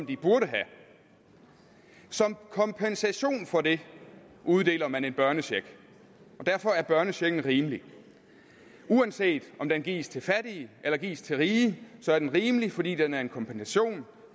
de burde have som kompensation for det uddeler man en børnecheck og derfor er børnechecken rimelig uanset om den gives til fattige eller gives til rige er den rimelig fordi den er en kompensation